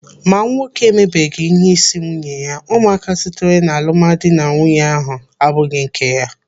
Ma nwoke emebeghi ihe isi nwunye ya, ụmụaka sitere n'alụmdi na nwunye ahụ abụghị nke ya.